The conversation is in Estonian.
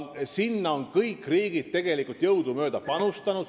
Sinna on kõik riigid jõudumööda panustanud.